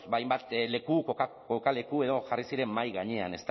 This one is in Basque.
ba hainbat leku kokaleku edo jarri ziren mahai gainean